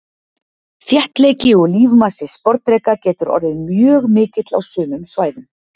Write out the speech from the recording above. Þéttleiki og lífmassi sporðdreka getur orðið mjög mikill á sumum svæðum.